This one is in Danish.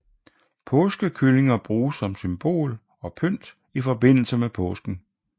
Påskekyllinger bruges som symbol og pynt i forbindelse med påsken